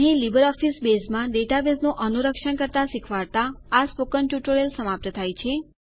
અહીં લીબરઓફીસ બેઝમાં ડેટાબેઝનું અનુરક્ષણ કરતા શીખવાડતાં આ સ્પોકન ટ્યુટોરીયલનો સમાપ્ત થાય છે